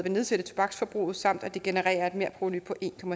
nedsætte tobaksforbruget samt at det genererer et merprovenu på en